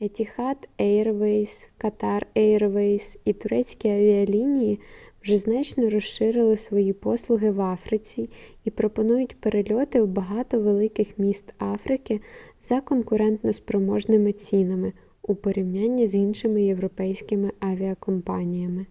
етіхад ейрвейз катар ейрвейз і турецькі авіалінії вже значно розширили свої послуги в африці і пропонують перельоти в багато великих міст африки за конкурентоспроможними цінами у порівнянні з іншими європейськими авіакомпаніями